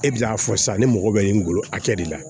E bɛ n'a fɔ sisan ne mago bɛ min golo hakɛ de la